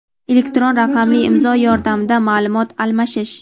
elektron raqamli imzo yordamida maʼlumot almashish;.